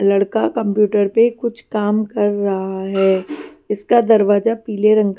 लड़का कंप्यूटर पे कुछ काम कर रहा है इसका दरवाजा पीले रंग--